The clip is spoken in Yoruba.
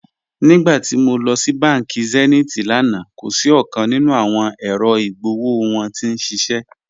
Nígbàtí mó lọ sí bánkì Zenith lánà, kò sí ọ̀kan nínu awọn èrò igbóòwò wọn tí n ṣiṣẹ́.